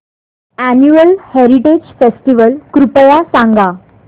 annual heritage festival कृपया सांगा